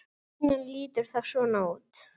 Línan lítur þá svona út